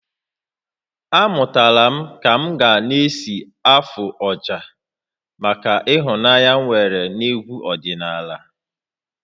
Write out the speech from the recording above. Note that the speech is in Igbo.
Amụtara m ka m ka-esi afụ ọjà maka ịhụnanya m nwere n'egwu ọdịnala